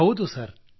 ಹೌದು ಸರ್